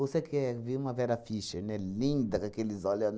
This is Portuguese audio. Ou você quer vim uma Vera Fischer, né, linda com aqueles olho